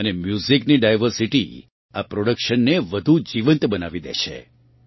અને મ્યુઝિકની ડાયવર્સિટી આ પ્રોડક્શનને વધુ જીવંત બનાવી દે છે